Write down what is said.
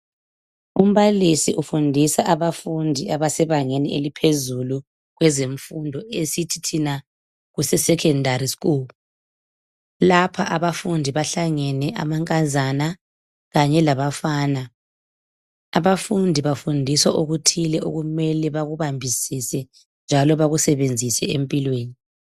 Umbalisi ufundisa abafundi abasebangeni eliphezulu kwezemfundo, esithi thina kuseSecondary school. Lapha abafundi bahlangene, amankazana kanye labafana. Abafundi bafundiswa okuthile okumele bakubambisise njalo bakusebenzise empilweni.